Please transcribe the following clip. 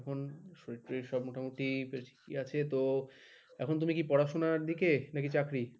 ওই সরির তরির সব মোটামুটি বেশ ঠিকই আছে তো এখন তুমি কি পড়াশোনার দিকে নাকি চাকরি?